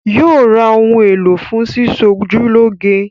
Yóò ra ohun èlò fún sísọjúlọ́ge